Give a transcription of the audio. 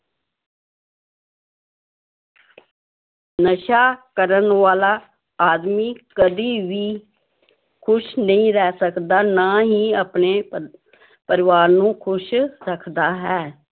ਨਸ਼ਾ ਕਰਨ ਵਾਲਾ ਆਦਮੀ ਕਦੇ ਵੀ ਖ਼ੁਸ਼ ਨਹੀਂ ਰਹਿ ਸਕਦਾ ਨਾ ਹੀ ਆਪਣੇ ਪਰਿਵਾਰ ਨੂੰ ਖ਼ੁਸ਼ ਰੱਖਦਾ ਹੈ।